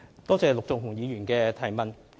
多謝陸頌雄議員的提問。